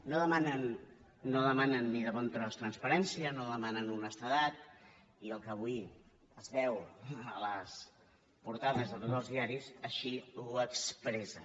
no demanen ni de bon tros transparència no demanen honestedat i el que avui es veu a les portades de tots els diaris així ho expressen